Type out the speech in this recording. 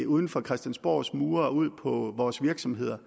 uden for christiansborgs mure går ud på vores virksomheder